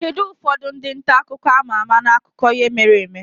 Kedu ụfọdụ ndị nta akụkọ a ma ama n'akụkọ ihe mere eme?